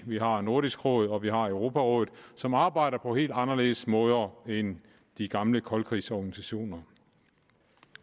vi har nordisk råd og vi har europarådet som arbejder på helt anderledes måder end de gamle koldkrigsorganisationer